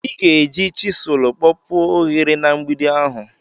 ị ga-eji chisụl kpọpuo ohere na mgbidi ahụ